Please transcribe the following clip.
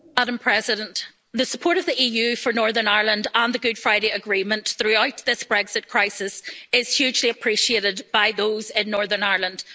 Madam President, the support of the EU for Northern Ireland and the Good Friday Agreement throughout this Brexit crisis is hugely appreciated by those in Northern Ireland.